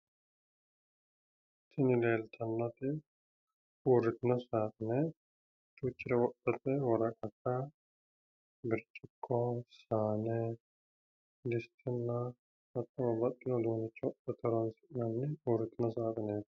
Tini leeltannoti uurritino saaxine duuchare wodhate woraqata, birciqqo, saane, distenna hattono babbaxxiwo uduunnicho wodhate horoonsi'nanni uurritino saaxineeti.